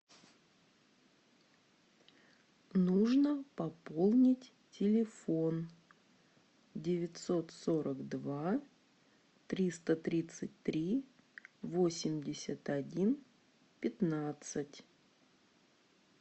нужно пополнить телефон девятьсот сорок два триста тридцать три восемьдесят один пятнадцать